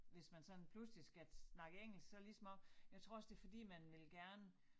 Hvis man sådan pludselig skal snakke engelsk så lige som om jeg tror også det fordi man vil gerne